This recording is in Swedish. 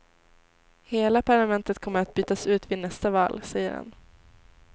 Hela parlamentet kommer att bytas ut vid nästa val, säger han.